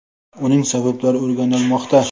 Uning sabablari o‘rganilmoqda.